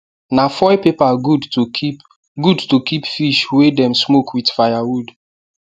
na foil paper good to keep good to keep fish wey dem smoke with firewood